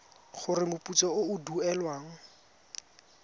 gore moputso o o duelwang